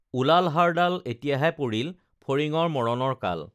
ওলাল হাড়ডাল এতিয়াহে পৰিল ফৰিঙৰ মৰণৰ কাল